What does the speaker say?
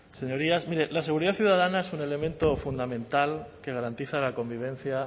señorías miren la seguridad ciudadana es un elemento fundamental que garantiza la convivencia